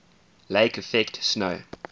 lake effect snow